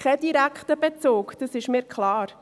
Das hat keinen direkten Bezug, das ist mir klar.